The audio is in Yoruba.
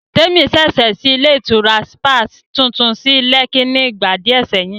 Témi ṣẹ̀ṣẹ̀ ṣí ilé ìtura sípà tuntun sí Lẹ́kí ni ìgbà díẹ̀ sẹ́yìn